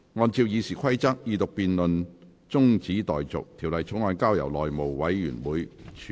按照《議事規則》，二讀辯論中止待續，條例草案交由內務委員會處理。